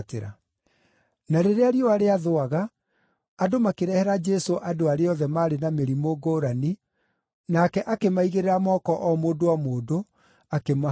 Na rĩrĩa riũa rĩathũaga, andũ makĩrehera Jesũ andũ arĩa othe maarĩ na mĩrimũ ngũrani, nake akĩmaigĩrĩra moko o mũndũ o mũndũ, akĩmahonia.